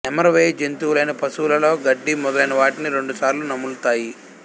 నెమరువేయు జంతువులైన పశువులలో గడ్డి మొదలైన వాటిని రెండుసార్లు నములుతాయి